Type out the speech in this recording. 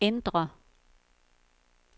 indre